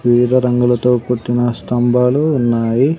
వివిధ రంగులతో కుట్టిన స్తంభాలు ఉన్నాయి.